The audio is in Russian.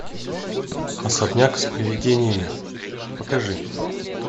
особняк с привидениями покажи